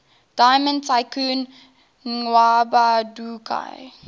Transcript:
diamond tycoon nwabudike